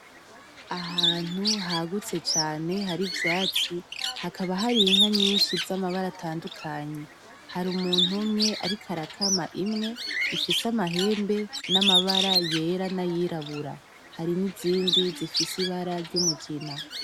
Ahantu hagutse cane hari ivyatsi hakaba hari inka nyinshi z'amabara atandukanye, har’umuntu umwe ariko arakama imwe ifise amahembe n'amabara yera n'ayirabura, hari n’izindi zifise ibara ry'umugina.